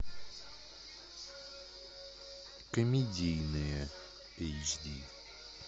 комедийные эйч ди